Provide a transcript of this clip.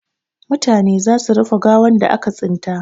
Mutane za su rufe gawan da aka tsinta.